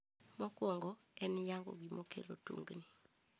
Mokwongo, en yango gima kelo tungni.